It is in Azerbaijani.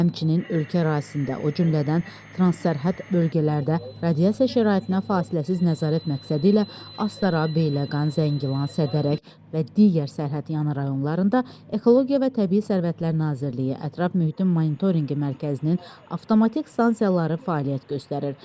Həmçinin ölkə ərazisində, o cümlədən Transsərhəd bölgələrdə radiasiya şəraitinə fasiləsiz nəzarət məqsədilə Astara, Beyləqan, Zəngilan, Sədərək və digər sərhədyanı rayonlarında Ekologiya və Təbii Sərvətlər Nazirliyi Ətraf Mühitin Monitorinqi Mərkəzinin avtomatik stansiyaları fəaliyyət göstərir.